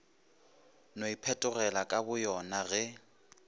no iphetogela ka boyona ge